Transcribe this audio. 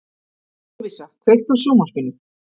Lovísa, kveiktu á sjónvarpinu.